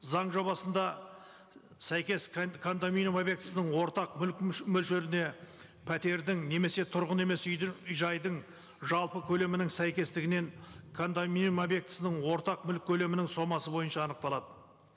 заң жобасында сәйкес кондоминиум объектісінің ортақ мүлік мөлшеріне пәтердің немесе тұрғын емес үйдің жайдың жалпы көлемінің сәйкестігінен кондоминиум объектісінің ортақ мүлік көлемінің сомасы бойынша анықталады